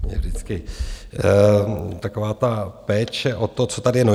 Mě vždycky taková ta péče o to, co tady je...